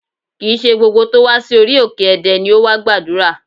Kì í ṣe gbogbo tó wá sí orí òkè Ẹdẹ ni ó wá gbàdúrà